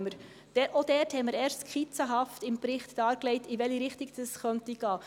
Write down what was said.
Auch dort haben wir im Bericht erst skizzenhaft dargelegt, in welche Richtung dies gehen könnte.